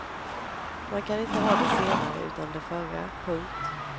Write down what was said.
Man kan inte ha det senare utan det förra. punkt